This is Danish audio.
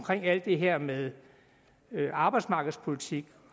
alt det her med arbejdsmarkedspolitikken